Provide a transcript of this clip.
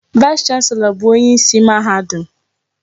Vaịs chanselọ bụ onyeisi mahadum.